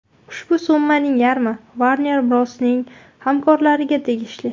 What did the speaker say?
Ushbu summaning yarmi Warner Bros’ning hamkorlariga tegishli.